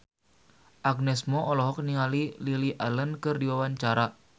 Agnes Mo olohok ningali Lily Allen keur diwawancara